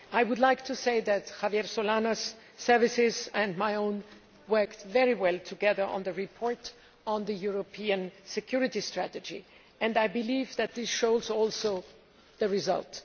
I would like to say that Javier Solana's services and my own worked very well together on the report on the European security strategy and I believe that this shows in the result.